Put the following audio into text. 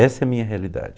Essa é a minha realidade.